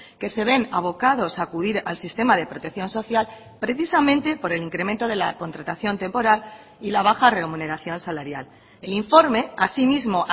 que se ven abocados a acudir al sistema de protección social precisamente por el incremento de la contratación temporal y la baja remuneración salarial el informe asimismo